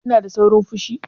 Kina da saurin fushi?